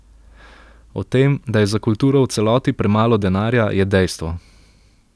O tem, da je za kulturo v celoti premalo denarja, je dejstvo.